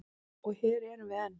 Og hér erum við enn.